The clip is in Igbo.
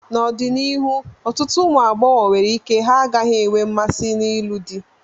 N'ọdịnihu, ọtụtụ ụmụ agbọghọ nwere ike ha gaghị enwe mmasị n'ịlụ di.